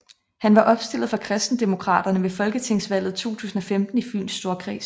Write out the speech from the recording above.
Han var opstillet for KristenDemokraterne ved Folketingsvalget 2015 i Fyns Storkreds